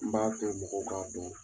N b'a to mɔgɔw ka don